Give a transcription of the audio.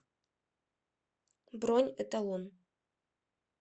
бронь эталон